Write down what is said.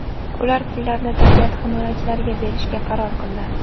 U pullarni tabiat himoyachilariga berishga qaror qildi.